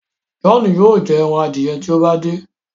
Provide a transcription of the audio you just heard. John yóò jé èràn adiẹ tí o bá de.